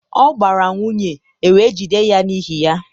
ọ gbara nwunye, ewe jide ya n'ihi ya.